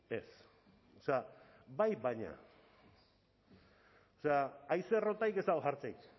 ez o sea bai baina o sea haize errotarik ez dago jartzerik